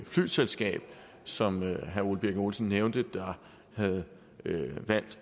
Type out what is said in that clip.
flyselskabet som herre ole birk olesen nævnte havde valgt